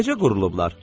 Necə qurulublar?